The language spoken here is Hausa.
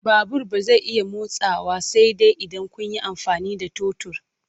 Babur ba zai iya motsawa sai dai idan kun yi amfani da totur.